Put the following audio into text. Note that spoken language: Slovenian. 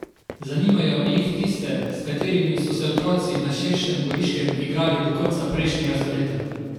Zanimajo jih tiste, s katerimi so se otroci na širšem Goriškem igrali do konca prejšnjega stoletja.